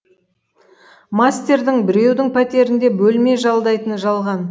мастердің біреудің пәтерінде бөлме жалдайтыны жалған